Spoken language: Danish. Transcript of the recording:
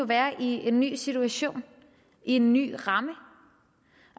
være i en ny situation i en ny ramme